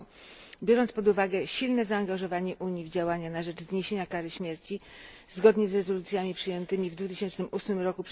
r. Biorąc pod uwagę silne zaangażowanie Unii w działania na rzecz zniesienia kary śmierci zgodnie z rezolucjami przyjętymi w 2008 r.